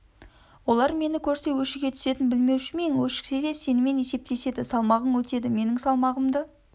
олар мені көрсе өшіге түсетінін білмеуші ме ен өшіксе де сенімен есептеседі салмағың өтеді менің салмағымды